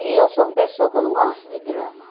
E eu sou uma pessoa que não gosto de drama.